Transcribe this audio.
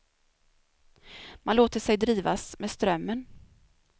Man låter sig drivas med strömmen.